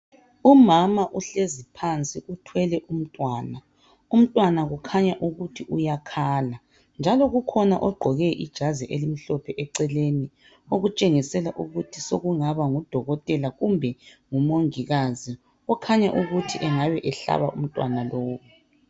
Umama uhlezi phansi uthwele umntwana, umntwana kukhanya uyakhala njalo kukhona ogqoke ijazi elimhlophe eceleni okutshengisela ukuthi sekungaba ngudokotela kumbe umongikazi okhanya ukuthi engabe ehlaba umntwana lowu.